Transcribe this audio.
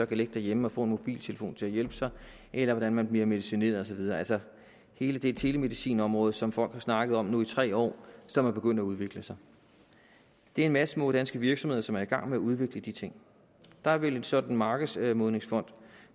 kan ligge derhjemme og få en mobiltelefon til at hjælpe sig eller hvordan man bliver medicineret og så videre altså hele det telemedicinområde som folk har snakket om nu i tre år og som er begyndt at udvikle sig det er en masse små danske virksomheder som er i gang med at udvikle de ting der vil en sådan markedsmodningsfond